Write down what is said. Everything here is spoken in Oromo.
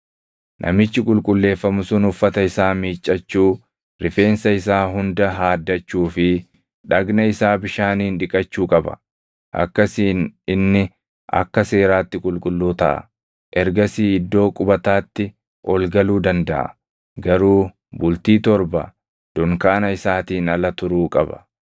“Namichi qulqulleeffamu sun uffata isaa miiccachuu, rifeensa isaa hunda haaddachuu fi dhagna isaa bishaaniin dhiqachuu qaba; akkasiin inni akka seeraatti qulqulluu taʼa. Ergasii iddoo qubataatti ol galuu dandaʼa; garuu bultii torba dunkaana isaatiin ala turuu qaba.